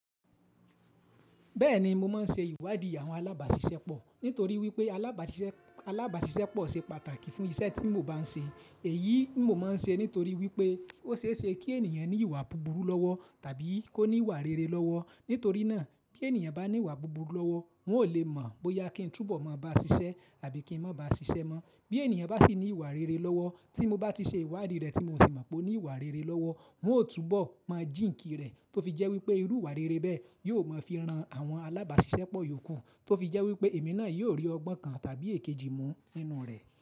Bẹ́ẹ̀ni, mo máa ń ṣe ìwádìí àwọn alábàáṣiṣẹ́pọ̀ nítorí wípé alábàáṣiṣẹ́ alábàáṣiṣẹ́pọ̀ ṣe pàtàkì fún iṣẹ́ tí mo bá ń ṣe. Èyí n mo máa ń ṣe nítorí wípé ó ṣe é ṣe kí ènìyàn ní ìwà búburú lọ́wọ́ tàbí kó ní ìwà rere lọ́wọ́. Nítorí náà bí ènìyàn bá ní ìwà búburú lọ́wọ́, wọn ò lè mọ̀ bóyá kín túbọ̀ máa bá ṣiṣẹ́ àbí kí wọ́n má ba ṣiṣẹ́ mọ́. Bí ènìyàn bá sì ní ìwà rere lọ́wọ́ tí mo bá ti ṣe ìwádìí rẹ̀ tí mo sì mọ̀ pé ó ní ìwà rere lọ́wọ́, n ó túbọ̀ mọ̀ jíǹkì rẹ̀ tó fi jẹ́ wípé irú ìwà rere bẹ́ẹ̀ yóò máa fi ran àwọn alábàáṣiṣẹ́pọ̀ yòókù tó fi jẹ́ wípé èmi náà yóò rí ọgbọ́n kan tàbí èkejì mú inú rẹ̀.